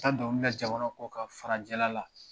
An dɔnkili da jamana kɔkan farajɛla la